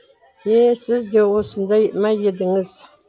е сіз де осындай ма едіңіз